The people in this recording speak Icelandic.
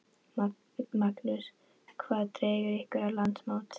Magnús: Hvað dregur ykkur á landsmót?